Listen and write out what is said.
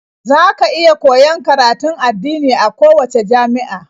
Za ka iya koyon karatun addini a kowacce jami'a.